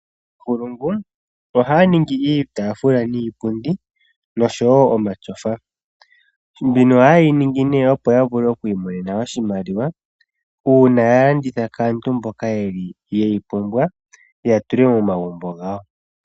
Aantu ohaya ningi iitafula niipundi noshowo omatyofa, mbino ohayeyi ningi nee opo yavule oku imonena oshimaliwa uuna ya landitha kaantu mboka yeyi pumbwa yatule momagumbo gawo.